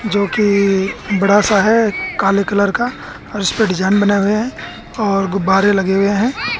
जोकि बड़ा सा है काले कलर का और उसे पर डिजाइन बने हुए हैं और गुब्बारे लगे हुए हैं।